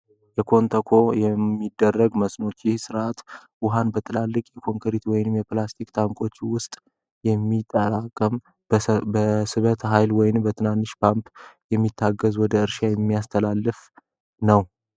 የኮንተኮ የሚደረግ መስኖ ይህ ስርዓት ውሃን በትላልቅ የኮንክሪት ወይም የፕላስቲክ ታንኮች ውስጥ የሚጠራቀም በስበተ ሀይል ወይም በትንንሽ ፓምፕ የሚታገዝ ወደ እርሻ የሚያስተላልፍ ነው።